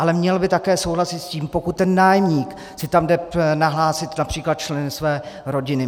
Ale měl by také souhlasit s tím, pokud ten nájemník si tam jde nahlásit například členy své rodiny.